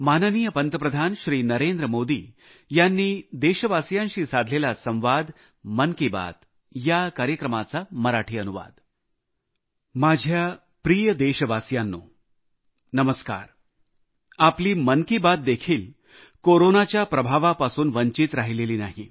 माझ्या प्रिय देशवासियांनो नमस्कार आपली मन की बात देखील कोरोनाच्या प्रभावापासून वंचित राहिलेली नाही